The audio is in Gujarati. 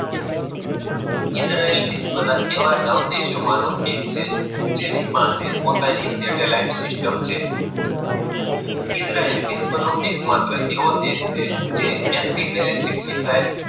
ઈજરાયલ વિશ્વ નો એવોનવ દેશો માનો દેશ છે. જેની પાસે પોતાની સેટેલાઈટ સિસ્ટમ છે. ઈજરાયલ વિશ્વ નો એક માત્ર દેશ છે એન્ટિ ક ગેલેક્સી મિસાઇ